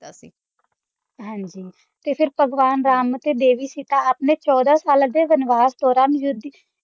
ਹਾਂਜੀ ਤੇ ਫ਼ਿਰ ਭਗਵਾਨ ਰਾਮ ਅਤੇ ਦੇਵੀ ਸੀਤਾ ਆਪਣੇ ਚੋਦਾਂ ਸਾਲਾਂ ਦੇ ਵਨਵਾਸ ਦੌਰਾਨ ਯੁੱਧ